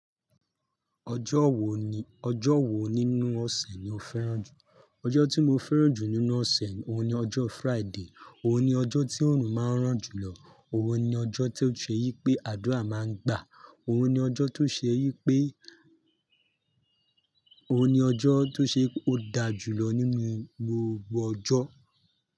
Ọjọ́ wo ni, ọjọ́ wo nínú ọ̀sẹ̀ ni o fẹ́ràn jù? Ọjọ́ tí mo fẹ́ràn jù nínú ọ̀sẹ̀, òun ni ọjọ́ Friday, òun ni ọjọ́ tí òòrùn máa ń ràn jùlọ, òun ni ọjọ́ tí ó ṣe yí pé àdúrà máa ń gbà, òun ni ọjọ́ tó ṣe yí pé, oun ni ojo to se wi pe o da ju lo ninu gbogbo ojo.